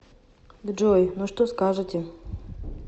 джой ну что скажете